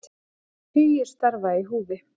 Það eru tugir starfa í húfi